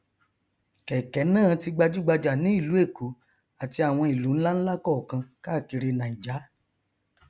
kẹkẹ náà ti gbajúgbajà ní ìlú èkó àti awọn ìlu nlánlá kọọkan káàkiri naija